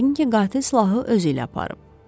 Yəqin ki qatil silahı özü ilə aparıb.